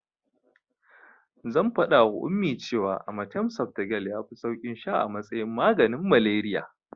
Zan faɗawa Ummi that cewa amatem softgel yafi saukin sha a matsayin maganin malariya.